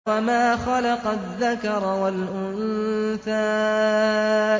وَمَا خَلَقَ الذَّكَرَ وَالْأُنثَىٰ